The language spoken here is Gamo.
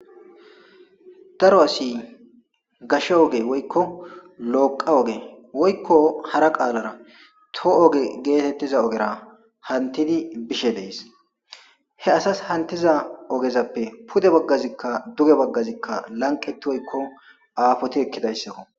daro asi gashe oge woykko looqa oge woykko hara qaalara too oge geetettiza ogera hantidi bishe dees he asas hantiza ogezappe pude baggazikka duge baggazikka lanqeti woykko aafoti ekkidayssakko